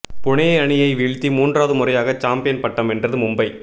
புனே அணியை வீழ்த்தி மூன்றாவது முறையாக சாம்பியன் பட்டம் வென்றது மும்பை